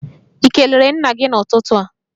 Ị kelere nna gị n'ụtụtụ a?